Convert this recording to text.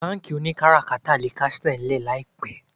Bánkì oníkátàkárà kásẹ̀ ńlẹ̀ láìpẹ́